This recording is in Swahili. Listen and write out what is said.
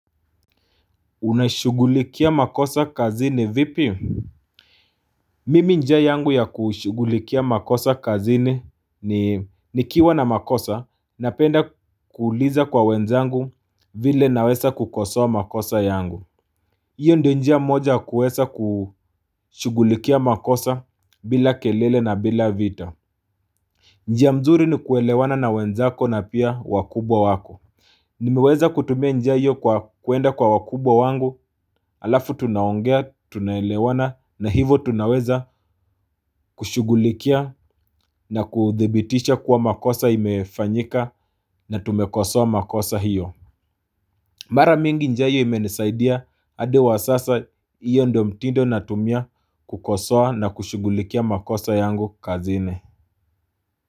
Unashugulikia makosa kazini vipi? Mimi njia yangu ya kushugulikia makosa kazini ni nikiwa na makosa napenda kuuliza kwa wenzangu vile na weza kukosoa makosa yangu Iyo ndio njia moja kuweza kushugulikia makosa bila kelele na bila vita njia mzuri ni kuelewana na wenzako na pia wakubwa wako Nimeweza kutumia njia iyo kwa kuenda kwa wakubwa wangu alafu tunaongea, tunaelewana na hivo tunaweza kushugulikia na kuthibitisha kuwa makosa imefanyika na tumekosoa makosa hiyo Mara mingi njia iyo imenisaidia hadi wa sasa iyo ndio mtindo natumia kukosoa na kushugulikia makosa yangu kazini.